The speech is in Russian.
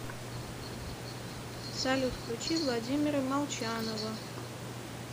салют включи владимира молчанова